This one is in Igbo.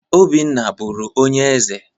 Obinna bụrụ onye eze.